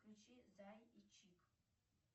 включи зай и чик